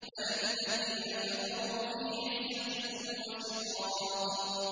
بَلِ الَّذِينَ كَفَرُوا فِي عِزَّةٍ وَشِقَاقٍ